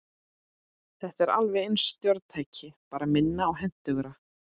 Þetta er alveg eins stjórntæki, bara minna og hentugra.